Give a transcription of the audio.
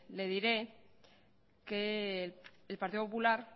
le diré que el partido popular